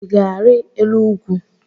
I ga-ari elu ugwu?